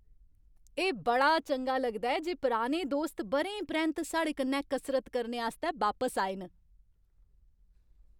एह् बड़ा चंगा लगदा ऐ जे पुराने दोस्त ब'रें परैंत्त साढ़े कन्नै कसरत करने आस्तै बापस आए न।